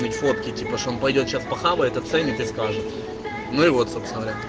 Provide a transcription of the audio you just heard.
фотки типа что он пойдёт сейчас по хавает оценит и скажет ну и вот собственно говоря